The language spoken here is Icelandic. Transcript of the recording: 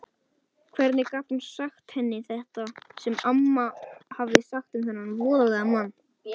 Hvernig gat hún sagt henni þetta sem amma hafði sagt um þennan voðalega mann?